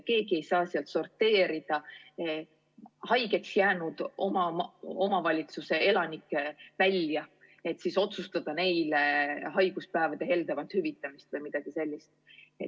Keegi ei saa sealt sorteerida haigeks jäänud omavalitsuse elanikke välja, et otsustada neile haiguspäevi heldemalt hüvitada või midagi sellist.